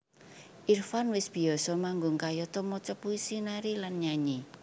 Irfan wis biyasa manggung kayata maca puisi nari lan nyanyi